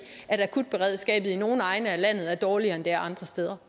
at akutberedskabet i nogle egne af landet er dårligere end det er andre steder